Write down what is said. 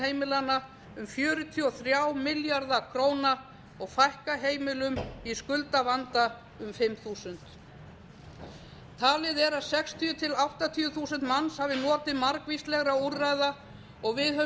heimilanna um fjörutíu og þrjá milljarða króna og fækka heimilum í skuldavanda um fimm þúsund talið er að sextíu þúsund til áttatíu þúsund manns hafa notið margvíslegra úrræða og við höfum